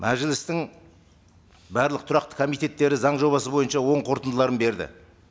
мәжілістің барлық тұрақты комитеттері заң жобасы бойынша оң қорытындыларын берді